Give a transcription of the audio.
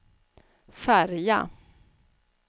färja